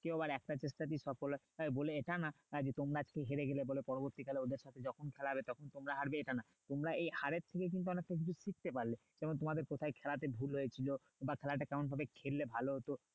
কেউ আবার একটা চেষ্টাতেই সফল হয় বলে এটা না যে তোমরা আজকে হেরে গেলে বলে পরবর্তী কালে ওদের যখন যখন খেলা হবে তখন তোমরা হারবে এটা না তোমরা এই হারের থেকেই কিন্তু অনেক কিছু শিখতে পারলে, যেমন তোমাদের কোথায় খেলাতে ভুল হয়ে ছিল বা খেলাটা কেমন ভাবে খেললে ভালো হতো